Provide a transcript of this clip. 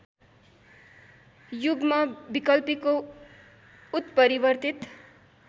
युग्म विकल्पीको उत्परिवर्तित